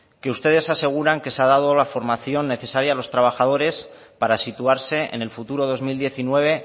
que ustedes aseguran que se ha dado la formación necesaria a los trabajadores para situarse en el futuro dos mil diecinueve